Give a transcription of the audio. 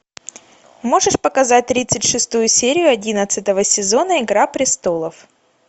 можешь показать тридцать шестую серию одиннадцатого сезона игра престолов